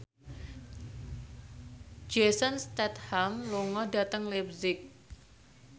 Jason Statham lunga dhateng leipzig